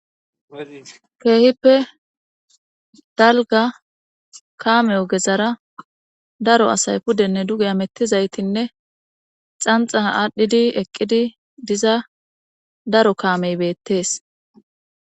keehippe dalga kaamey ogezara daro asay pudenne duge hmettizaytinne xanxa aadhdhidi eqqidi diza daro kaamey beettees